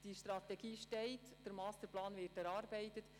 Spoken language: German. Die Strategie steht, der Masterplan wird erarbeitet: